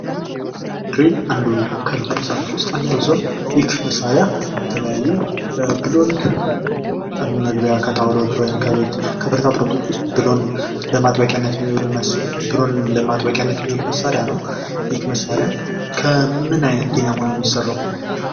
ክሬን አንዱ ከልዩልዩ መሳርያወች ውስጥ አንደኛው ሲሆን ይህ መሳርያ የተለያዩ ብሎን መግቢያ ከጣውላወች ወይም ከቤት ከብረታብረቶች ውስጥ ብሎን ለማጥበቂያነት የሚውል መሳርያ ነው። ይህ መሳርያ ከምን አይነት ዲናሞ ነው የሚሰራው?